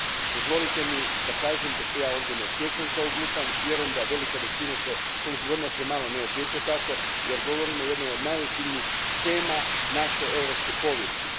Dozvolite mi da kažem da se ja ovdje ne osjećam kao glupan, vjerujem da se velika većina, koliko god nas je malo, ne osjeća tako, jer govorimo o jednoj od najozbiljnijih tema naše europske povijesti.